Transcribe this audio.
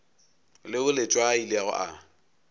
leo letšwa a ilego a